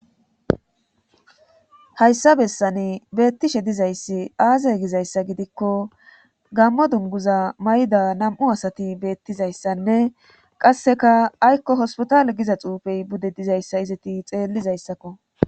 hayssa bessani beettishe dizayssi aaze gizayssa gidikko gammo dunguza may7da nam7u asati beettizayssanne qasseka aykko hospitale giza xuufey bude dizayssa izati xeellizayssakko